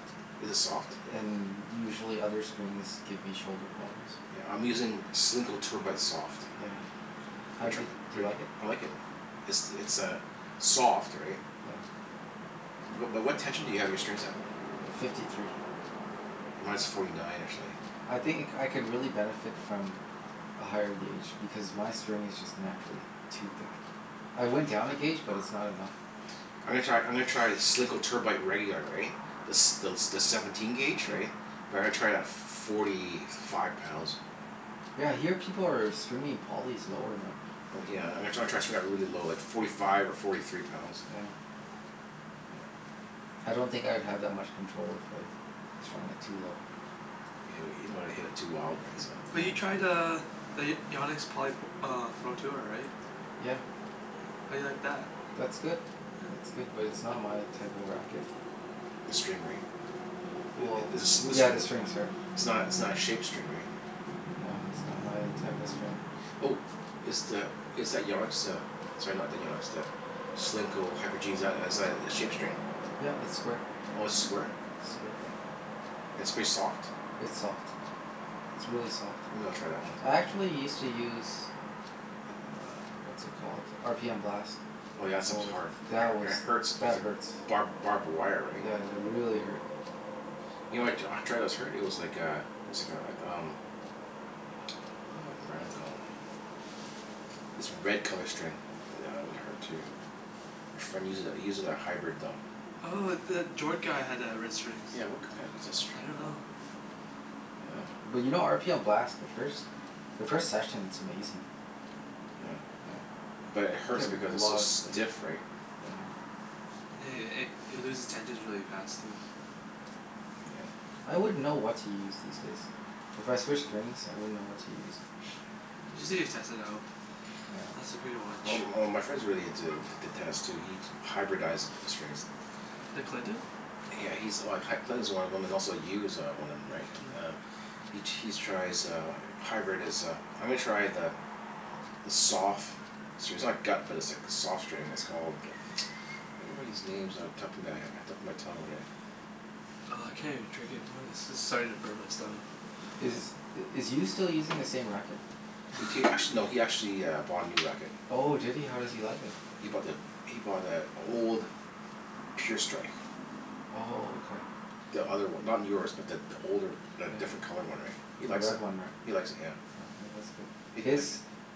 Is it soft? And usually other strings give me shoulder problems. Yeah, I'm using Solinco Tour Bite soft. Yeah. How Have di- you tri- do you Are y- like it? I like it. It's it's a soft, right? Yeah. But but what tension do you have your strings at? Uh, fifty three. Mine's forty nine, actually. I think I c- could really benefit from a higher gauge, because my string is just naturally too thick. I went down a gauge but it's not enough. I'm gonna try, I'm gonna try Solinco Tour Bite regular, right? The s- thel- the seventeen gauge, Yeah. right? But I'm gonna try it at forty five pounds. Yeah, I hear people are stringing polys lower now. Oh yeah, I'm gonna try try to string that really low, like forty five or forty three pounds. Yeah. Mm. I don't think I'd have that much control if I strung it too low. Yeah, you don't wanna hit it too wild, Yeah, right? So but Yeah. you tried uh the Y- Yannick's poly p- uh Pro Tour, right? Yeah. Yeah? How do you like that? That's good. Yeah. It's good. But it's not my type of racket. Mm. The string, right? W- Th- well i- it's a smooth yeah, string, the i- string's hard. it's not it's not Mm. a shaped string, right? Yeah, it's not my type of string. Mhm. Oh. Is the, is that Yannick's uh, sorry, not the Yannick's, the Solinco Hyper G, is that as a shape string? Yeah, it's square. Oh, it's square? Oh, Square. okay. It's pretty soft? It's soft. It's really soft. Maybe I'll try that one. I actually used to use uh, what's it called? R p m Blast. Oh yeah, that Oh stuff's well, hard. I- that was, it hurts, like that the hurts. barb- barbed wire, right? Yeah, they really hurt. You know what I t- try that was hurt? It was like a it was like a um what was that brand called? This red color string. That one hurt too. My friend uses it, he uses a hybrid, though. Oh, the Jord guy had the red strings. Yeah, what k- k- what was that I string don't called? know. But you know r p m Blast, the first the first session it's amazing. Yeah. Yeah. But it Get hurts because re- a it's so lot of spin. stiff, right? Yeah. Yeah yeah yeah. It it loses tensions really fast, too. Yeah. I wouldn't know what to use these days. If I switched strings, I wouldn't know what to use. Yeah. You just need to test it out. Yeah. That's the pretty Well much m- m- my friend's really into t- tennis too. He hyberdized the strings. The Clinton? Yeah, he's like C- Clinton's one of them, and also Yu is uh one of them, right? Mm. Um He he's tries uh hybrid is uh, I'm gonna try the the sof- gut but it's like soft string. It's called I can't remember these names off the top of my he- top of my tongue whadat- Oh, I can't even drink anymore of this. This is starting to burn my stomach. Is Yeah. is Yu still using the same racket? He t- act- no, he actually bought a new racket. Oh, did he? How does he like it? He he he bought the, he bought the old Pure Strike. Oh, okay. The other one. Not yours but th- the older, the Yeah. different colored one, right? He The likes red it. one, right? He likes it, yeah. Oh, yeah, that's good. He His like